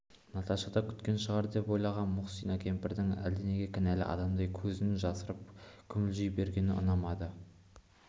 наташа да күткен шығар деп ойлаған мұхсина кемпірдің әлденеге кінәлі адамдай көзін жасырып күмілжи бергені ұнамады